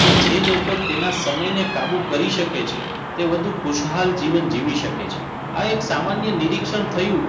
કે જે લોકો તેના સમયને કાબુ કરી શકે છે તે વધુ ખુશાલ જીવન જીવી શકે છે આ એક સામાન્ય નિરીક્ષણ થયું